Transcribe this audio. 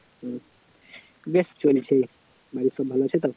বেশ চলছে, বাড়ির সব ভালো আছে তো